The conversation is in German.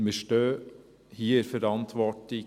Und wir stehen hier in der Verantwortung: